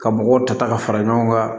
Ka mɔgɔw ta ta ka fara ɲɔgɔn kan